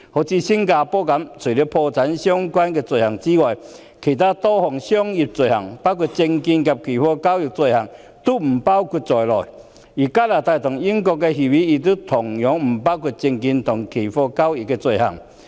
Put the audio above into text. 以新加坡為例，除了破產相關的罪行外，其他多項商業罪行，包括證券及期貨交易的罪行，都不包括在內；而香港與加拿大和英國簽訂的協定同樣不包括證券及期貨交易的罪行。